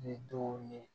Ni denw ye